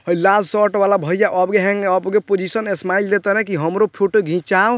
हई लाल शर्ट वाला भैया अब अब के पोज़िशन स्माइल दे तारन की हमरो फोटो घिचाऊ --